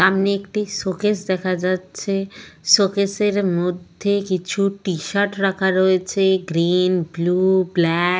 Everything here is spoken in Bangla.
সামনে একটি শোকেস দেখা যাচ্ছে শোকেস এর মধ্যে কিছু টি-শার্ট রাখা রয়েছে গ্রীন ব্লু ব্ল্যাক ।